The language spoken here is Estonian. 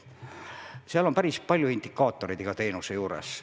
Seal on päris palju indikaatoreid iga teenuse juures.